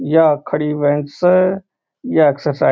यहाँ खड़ी बेंच स या एक्सरसाइज --